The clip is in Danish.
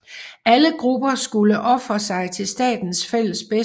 Alle grupper skulle ofre sig til statens fælles bedste